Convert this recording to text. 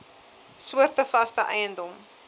soorte vaste eiendom